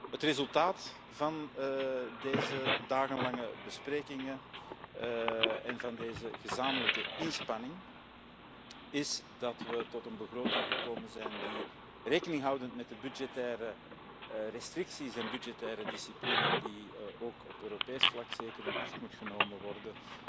Het resultaat van deze dagenlange besprekingen en van deze gezamenlijke inspanning is dat we tot een begroting gekomen zijn die rekening houdend met de budgettaire restricties en budgettaire discipline die ook op Europees vlak zeker in acht moet worden